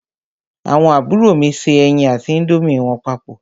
Àwọn àbúrò mi se ẹyin àti índómì wọn papọ̀.